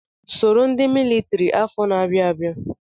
Soro ndị militiri afọ na-abịa abịa!